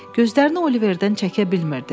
Gözlərini Oliverdən çəkə bilmirdi.